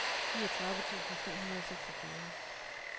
niogtredive tusind tre hundrede og seksogfyrre